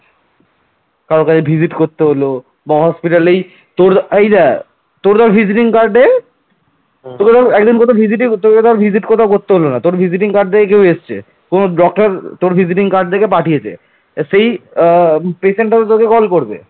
কোন block র তোর visiting card দেখে পাঠিয়েছে সেই patient র কল করবে